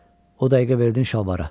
O dəqiqə verdin şalvara.